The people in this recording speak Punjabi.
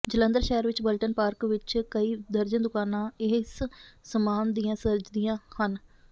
ਜਲੰਧਰ ਸ਼ਹਿਰ ਵਿਚ ਬਲਟਨ ਪਾਰਕ ਵਿਚ ਕਈ ਦਰਜਨ ਦੁਕਾਨਾਂ ਇਸ ਸਾਮਾਨ ਦੀਆਂ ਸਜਦੀਆਂ ਹਨ